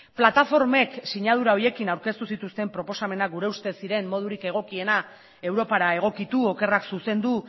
plataformek sinadura horiekin aurkeztu zituzten proposamenak gure ustez ziren modurik egokiena europara egokitu okerrak zuzendu